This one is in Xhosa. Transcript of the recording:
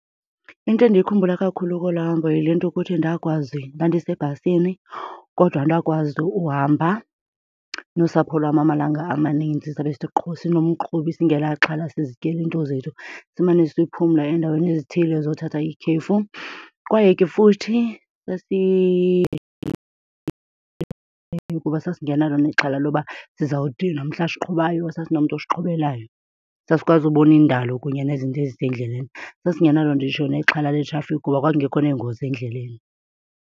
Into endiyikhumbula kakhulu kolaa hambo yile nto kuthi ndakwazi, ndandisebhasini kodwa ndakwazi uhamba nosapho lwam amalanga amaninzi sabe sinomqhubi singenaxhala sizityela iinto zethu, simane siphumla eendaweni ezithile zothatha ikhefu. Kwaye ke futhi kuba sasingenalo nexhala loba sizawudinwa mhla siqhubayo, sasinomntu osiqhubelayo, sasikwazi ubona indalo kunye nezinto ezisendleleni. Sasingenalo nditsho nexhala letrafikhi kuba kwakungekho neengozi endleleni.